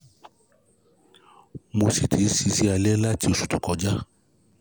Mo sì ti ń ṣiṣẹ́ alẹ́ láti oṣù tó tó kọjá